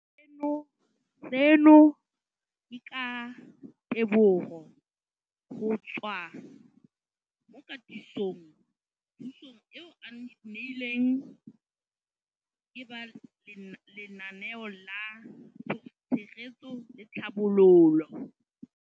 Seno ke ka ditebogo go tswa mo katisong le thu song eo a e neilweng ke ba Lenaane la Tshegetso le Tlhabololo ya